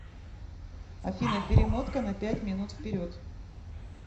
афина перемотка на пять минут вперед